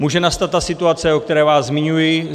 Může nastat ta situace, o které se zmiňuji.